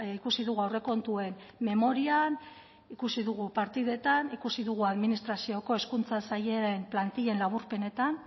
ikusi dugu aurrekontuen memorian ikusi dugu partidetan ikusi dugu administrazioko hezkuntza sailaren plantila laburpenetan